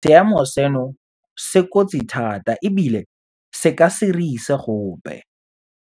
Seemo seno se kotsi thata ebile se ka se re ise gope.